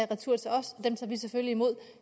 retur til os dem tager vi selvfølgelig imod